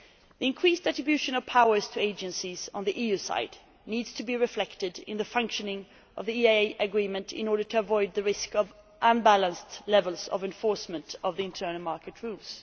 The increased attribution of powers to agencies on the EU side needs to be reflected in the functioning of the EEA Agreement in order to avoid the risk of unbalanced levels of enforcement of the internal market rules.